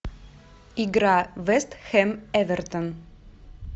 игра вест хэм эвертон